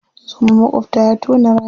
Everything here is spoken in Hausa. Zoman maƙwabta ya tona rami.